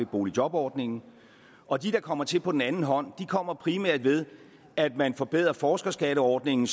boligjobordningen og de der kommer til på den anden hånd kommer primært ved at man forbedrer forskerskatteordningen